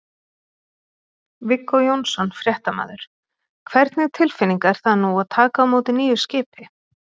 Viggó Jónsson, fréttamaður: Hvernig tilfinning er það nú að taka á móti nýju skipi?